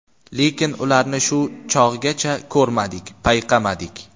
Lekin ularni shu chog‘gacha ko‘rmadik, payqamadik.